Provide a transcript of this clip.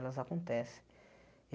Elas acontecem.